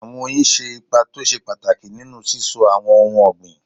Àwọn oyin ṣe ipa tó ṣe pàtàkì nínú síso àwọn ohun ọ̀gbìn.